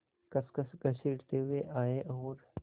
खसखस घसीटते हुए आए और